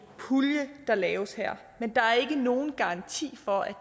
pulje der laves her men der er ikke nogen garanti for at